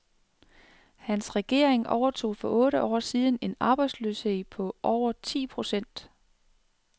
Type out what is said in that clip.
Hans regering overtog for otte år siden en arbejdsløshed på over ti procent.